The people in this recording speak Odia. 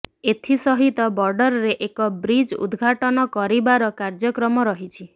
ଏଥିସହିତ ବର୍ଡରରେ ଏକ ବ୍ରିଜ୍ ଉଦଘାଟନ କରିବାର କାର୍ଯ୍ୟକ୍ରମ ରହିଛି